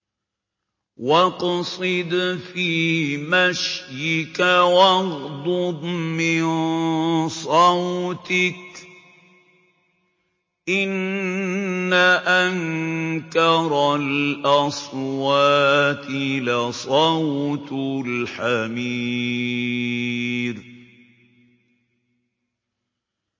وَاقْصِدْ فِي مَشْيِكَ وَاغْضُضْ مِن صَوْتِكَ ۚ إِنَّ أَنكَرَ الْأَصْوَاتِ لَصَوْتُ الْحَمِيرِ